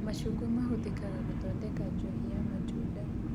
Macungwa mahũthĩkaga gũthondeka njohi ya matunda